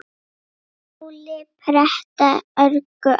Táli pretta örgu ann